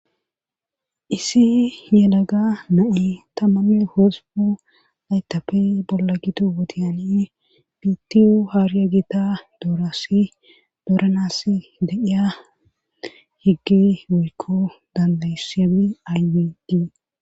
isi yelaga na7i tammamme hozubu aytape bolla gito wotiyani bitiyu haariya gita doorasi dooranas deqiya higgi woykko dandaysami aywidii